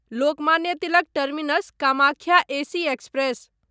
Lokmanya Tilak terminus Kamakhya AC express